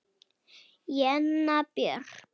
Jenna Björk.